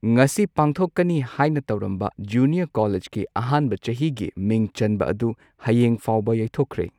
ꯉꯁꯤ ꯄꯥꯡꯊꯣꯛꯀꯅꯤ ꯍꯥꯏꯅ ꯇꯧꯔꯝꯕ, ꯖꯨꯅꯤꯌꯔ ꯀꯣꯂꯦꯖꯀꯤ ꯑꯍꯥꯟꯕ ꯆꯍꯤꯒꯤ ꯃꯤꯡ ꯆꯟꯕ ꯑꯗꯨ, ꯍꯌꯦꯡ ꯐꯥꯎꯕ ꯌꯩꯊꯣꯛꯈ꯭ꯔꯦ꯫